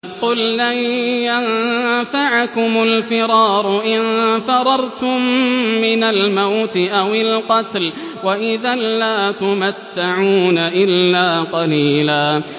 قُل لَّن يَنفَعَكُمُ الْفِرَارُ إِن فَرَرْتُم مِّنَ الْمَوْتِ أَوِ الْقَتْلِ وَإِذًا لَّا تُمَتَّعُونَ إِلَّا قَلِيلًا